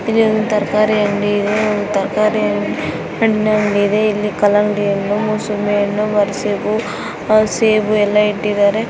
ಇದೊಂದು ತರಕಾರಿ ಅಂಗಡಿ ಇದೆ ತರಕಾರಿ ಹಣ್ಣು ಅಂಗಡಿ ಇದೆ ಕಲ್ಲಂಗಡಿ ಹಣ್ಣು ಮೂಸಂಬಿ ಹಣ್ಣು ಮರಸೇಬುಮರಸೇಬು ಎಲ್ಲ ಇಟ್ಟಿದ್ದಾರೆ.